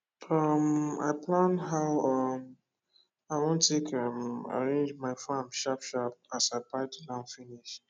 um i plan how um i wan take um arrange my farm sharp sharp as i buy the land finish